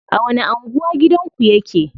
A wani anguwa gidanku yake?